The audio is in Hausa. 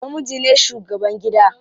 Namiji ne shugaban gida.